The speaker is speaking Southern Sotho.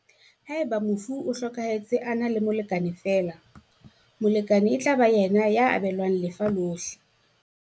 Haeba mofu o hlokahe tse a na le molekane feela, molekane e tla ba yena ya abelwang lefa lohle.